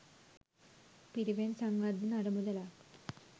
පිරිවෙන් සංවර්ධන අරමුදලක්